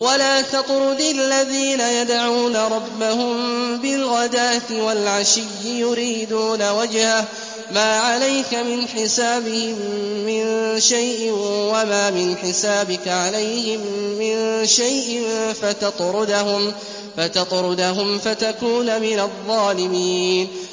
وَلَا تَطْرُدِ الَّذِينَ يَدْعُونَ رَبَّهُم بِالْغَدَاةِ وَالْعَشِيِّ يُرِيدُونَ وَجْهَهُ ۖ مَا عَلَيْكَ مِنْ حِسَابِهِم مِّن شَيْءٍ وَمَا مِنْ حِسَابِكَ عَلَيْهِم مِّن شَيْءٍ فَتَطْرُدَهُمْ فَتَكُونَ مِنَ الظَّالِمِينَ